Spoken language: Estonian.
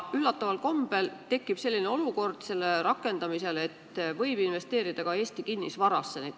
Üllataval kombel tekib selle põhimõtte rakendamisel olukord, kus nende pensionifondide raha võib investeerida ka Eesti kinnisvarasse.